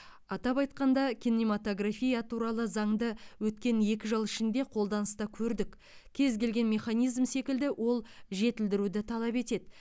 атап айтқанда кинематография туралы заңды өткен екі жыл ішінде қолданыста көрдік кез келген механизм секілді ол жетілдіруді талап етеді